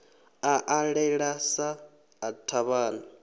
a ṱalela sa ḽa thavhani